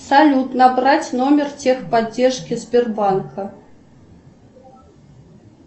салют набрать номер техподдержки сбербанка